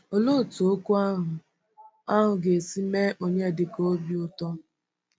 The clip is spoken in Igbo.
Òlee otú okwu ahụ ahụ ga-esi mee Onyedịka obi ụtọ!